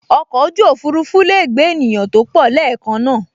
Oko oju ofurufu lee gbe eniyan to po leekan naa